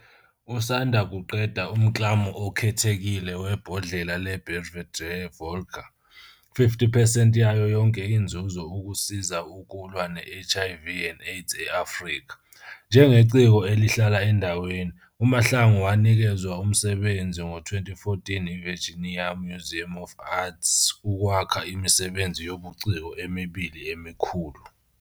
Usanda kuqeda umklamo okhethekile webhodlela le-Belvedere Vodka, 50 percent yayo yonke inzuzo ukusiza ukulwa ne-HIV and AIDS e-Afrika. Njengeciko elihlala endaweni, uMahlangu wanikezwa umsebenzi ngo-2014 yiVirginia Museum of Fine Arts ukwakha imisebenzi yobuciko emibili emikhulu.